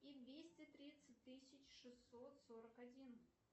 и двести тридцать тысяч шестьсот сорок один